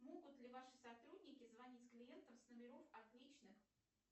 могу ли ваши сотрудники звонить клиентам с номеров отличных